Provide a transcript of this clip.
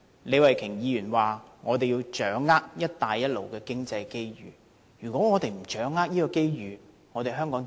李慧琼議員指我們要掌握"一帶一路"經濟機遇，剛才卻備受議員批評。